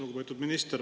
Lugupeetud minister!